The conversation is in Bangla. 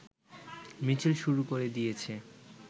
মিছিল শুরু করে দিয়েছে